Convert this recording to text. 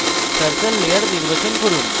circle layer নির্বাচন করুন